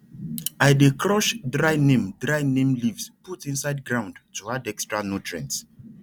i dey crush dry neem dry neem leaves put inside ground to add extra nutrients